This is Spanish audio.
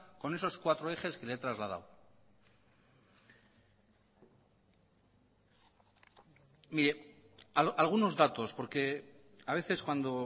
con esos cuatro ejes que le he trasladado mire algunos datos porque a veces cuando